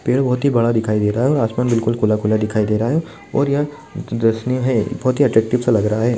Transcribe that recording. पेड़ बोहत ही बड़ा दिखाई दे रहा है और आसमान बिलकुल खुला-खुला दिखाई दे रहा है और यह दर्शनीय है बोहत ही अट्रेक्टिव सा लग रहा है।